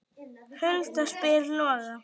Hulda spyr Loga